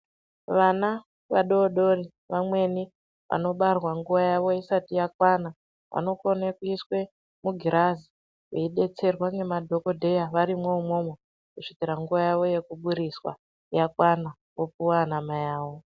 Vana vadodori vamweni vanobarwa nguwa yawo isati yakwana vanokone kuiswa mugirazi veibetserwe ngemadhokodheya varimwo imomo kusvira nguwa yawo yekuburiswa yakwana vopuwa anamai avo.